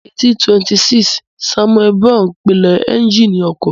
Ní 1826, Samuel Brown pinlẹ̀ éúnjínì ọkọ̀